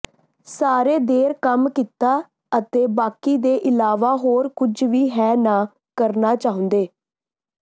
ਸਾਰੇ ਦੇਰ ਕੰਮ ਕੀਤਾ ਅਤੇ ਬਾਕੀ ਦੇ ਇਲਾਵਾ ਹੋਰ ਕੁਝ ਵੀ ਹੈ ਨਾ ਕਰਨਾ ਚਾਹੁੰਦੇ